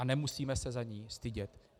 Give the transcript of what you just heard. A nemusíme se za ni stydět.